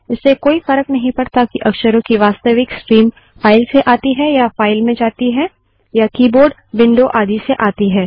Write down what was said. इससे कोई फर्क नहीं पड़ता कि अक्षरों की वास्तविक स्ट्रीम फाइल से आती है या फाइल में जाती है या कीबोर्ड विंडो आदि से आती है